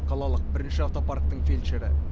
қалалық бірінші автопарктің фельдшері